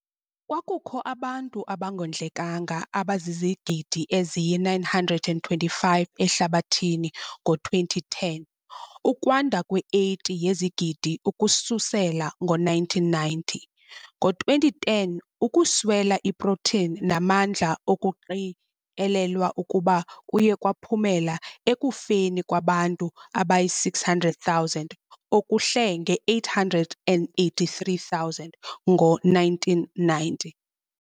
Kwakukho abantu abangondlekanga abazizigidi eziyi-925 ehlabathini ngo-2010, ukwanda kwe-80 yezigidi ukususela ngo-1990. Ngo-2010 ukuswela iprotini namandla okuqikelelwa ukuba kuye kwaphumela ekufeni kwabantu abayi-600,000 okuhle nge-883,000 ngo-1990.